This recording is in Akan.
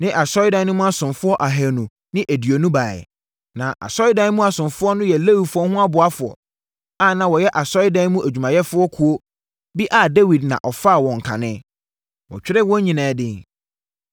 ne asɔredan no mu asomfoɔ ahanu ne aduonu baeɛ. Na asɔredan mu asomfoɔ no yɛ Lewifoɔ no aboafoɔ a na wɔyɛ asɔredan mu adwumayɛfoɔ kuo bi a Dawid na ɔfaa wɔn kane. Wɔtwerɛɛ wɔn nyinaa din.